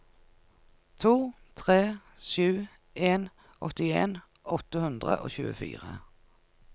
to tre sju en åttien åtte hundre og tjuefire